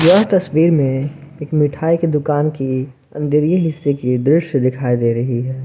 यह तस्वीर में एक मिठाई की दुकान की अंदरिय हिस्से की दृश्य दिखाई दे रही है।